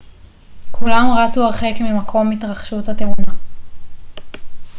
כולם רצו הרחק ממקום התרחשות התאונה